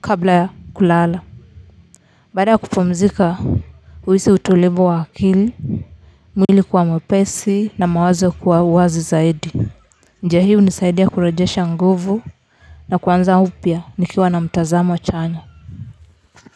kabla ya kulala badaya kupumzika huisi utulivu wa akili, mwili kuwa mwepesi na mawazo kuwa wazi zaidi. Njia hii hunisaidia kurejesha nguvu na kuanza upya nikiwa na mtazamo chanya.